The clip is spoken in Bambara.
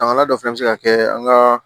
Daminɛna dɔ fana bɛ se ka kɛ an ka